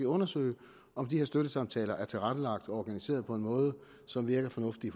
undersøge om de her støttesamtaler er tilrettelagt og organiseret på en måde som virker fornuftig